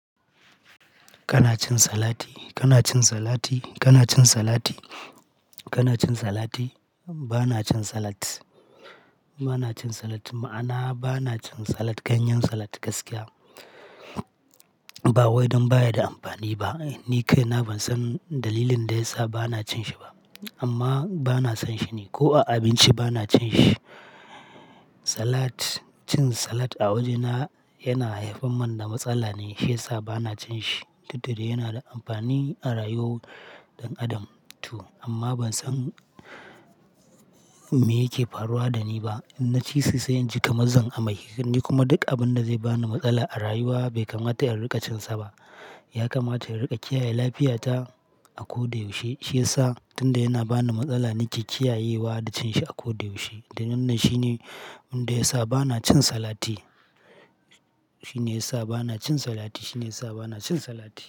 Kana cin salati? Kana cin salati? Kana cin salati? Kana cin salati? Bana cin salat. Bana cin salat. Ma'ana bana cin salat, ganyen salat gaskiya. Ba wai don baya da amfani ba. Ni kai na ban san dalilin da yasa bana cin shi ba. Amma bana son shi ne, ko a abinci bana cin shi. Salat, cin salat a wajena yana haifar mun da matsala ne shi ya sa ba na cin shi. Duk da dai yana da amfani a rayuwar ɗan adam to. Amma ban san me yake faruwa da ni ba. Na ci sa sai in ji kamazan a maikani kuma duk abin da zai bani matsala a rayuwa bai kamata a riƙa cin sa ba. Ya kamata in riƙa kiyaye lafiya ta a ko da yaushe. Shi ya sa tunda yana bani matsala nake kiyayewa da cin shi a ko da yaushe. Dan nan shine inda ya sa bana cin salati. Shi ne ya sa bana cin salati. Shi ne ya sa bana cin salat.